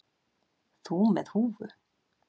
Þú með húfu.